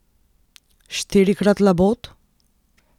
Štirikrat labod?